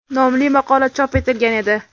nomli maqola chop etilgan edi.